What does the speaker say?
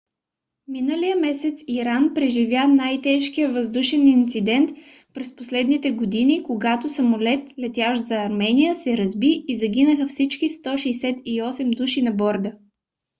миналия месец иран преживя най-тежкия въздушен инцидент през последните години когато самолет летящ за армения се разби и загинаха всички 168 души на борда